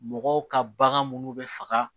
Mɔgɔw ka bagan munnu bɛ faga